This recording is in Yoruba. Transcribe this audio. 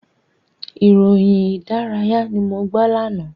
Ìròyìn ìdárayá ni mo gbọ́ lánàá.